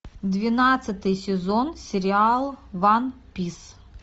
двенадцатый сезон сериал ван пис